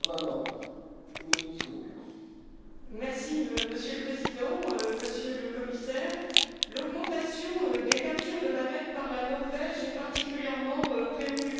Monsieur le Président, Monsieur le Commissaire, l'augmentation des captures de baleines par la Norvège est particulièrement préoccupante, surtout quand il s'agit de femelles en gestation.